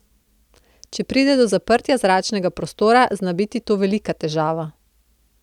Če pride do zaprtja zračnega prostora, zna biti to velika težava.